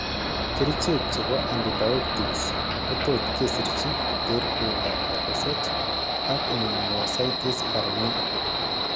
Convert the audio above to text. Kerichek chebo antibiotics kotot kesirchi koter uindab kabuset, ak pneumocystis carinii